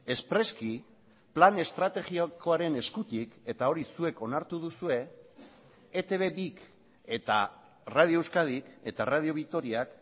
espreski plan estrategikoaren eskutik eta hori zuek onartu duzue etb bik eta radio euskadik eta radio vitoriak